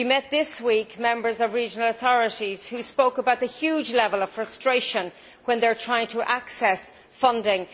This week, we met members of regional authorities who spoke about the huge level of frustration when they are trying to access funding.